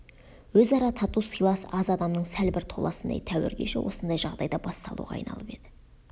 өзара тату сыйлас аз адамның сәл бір толасындай тәуір кеші осындай жағдайда басталуға айналып еді